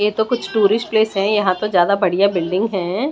ये तो कुछ टूरिस्ट प्लेस है यहां तो ज्यादा बढ़िया बिल्डिंग है।